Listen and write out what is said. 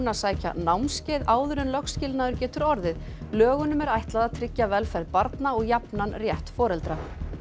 sækja námskeið áður en lögskilnaður getur orðið lögunum er ætlað að tryggja velferð barna og jafnan rétt foreldra